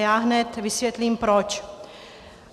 Já hned vysvětlím proč.